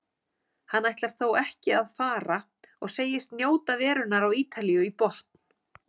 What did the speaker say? Hann ætlar þó ekki að fara og segist njóta verunnar á Ítalíu í botn.